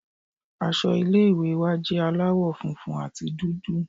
Aṣọ ilé ìwé wa jẹ́ aláwọ̀ funfun àti dúdú.